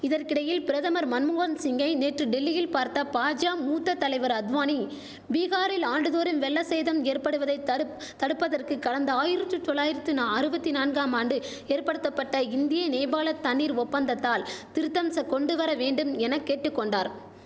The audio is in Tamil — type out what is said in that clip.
இதற்கிடையில் பிரதமர் மன்மோகன் சிங்கை நேற்று டெல்லியில் பார்த்த பாஜா மூத்த தலைவர் அத்வானி பீகாரில் ஆண்டுதோறும் வெள்ள சேதம் ஏற்படுவதை தடுப் தடுப்பதற்கு கடந்த ஆயிரற்று தொளாயிரத்துனா அருவத்தி நான்காம் ஆண்டு ஏற்படுத்தபட்ட இந்திய நேபாள தண்ணீர் ஒப்பந்தத்தால் திருத்தம்ச கொண்டு வரவேண்டும் என கேட்டு கொண்டார்